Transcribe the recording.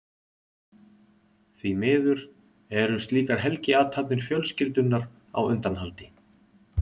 Því miður eru slíkar helgiathafnir fjölskyldunnar á undanhaldi.